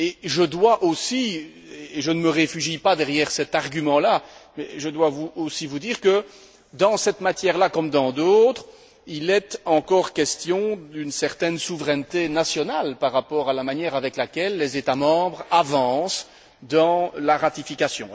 Je ne me réfugie pas derrière cet argument, mais je dois aussi vous dire que, dans cette matière comme dans d'autres, il est encore question d'une certaine souveraineté nationale par rapport à la manière dont les États membres avancent dans la ratification.